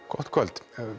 gott kvöld